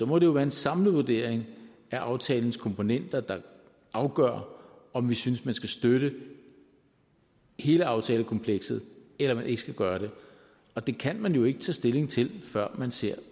må det jo være en samlet vurdering af aftalens komponenter der afgør om vi synes man skal støtte hele aftalekomplekset eller man ikke skal gøre det og det kan man jo ikke tage stilling til før man ser